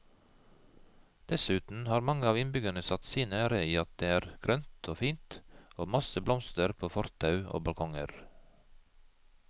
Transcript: Dessuten har mange av innbyggerne satt sin ære i at det er grønt og fint og masse blomster på fortau og balkonger.